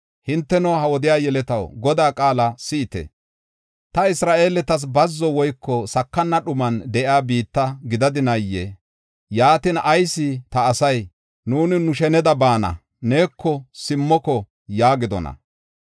Hinteno, ha wodiya yeletaw, Godaa qaala si7ite. Ta Isra7eeletas bazzo woyko sakana dhuman de7iya biitta gidadinaayee? Yaatin, ayis ta asay, “Nuuni nu sheneda baana; neeko simmoko” yaagidona?